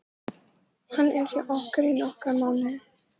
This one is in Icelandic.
Hann er hjá okkur í nokkra mánuði.